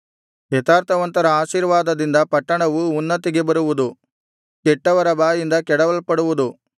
ಯಥಾರ್ಥವಂತರ ಆಶೀರ್ವಾದದಿಂದ ಪಟ್ಟಣವು ಉನ್ನತಿಗೆ ಬರುವುದು ಕೆಟ್ಟವರ ಬಾಯಿಂದ ಕೆಡವಲ್ಪಡುವುದು